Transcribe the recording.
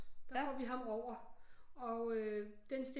Der får vi ham over og den